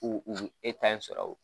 U, u b'u e ta in sɔrɔ